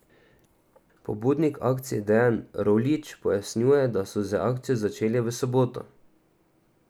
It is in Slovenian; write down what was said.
Pobudnik akcije Dejan Roljič pojasnjuje, da so z akcijo začeli v soboto.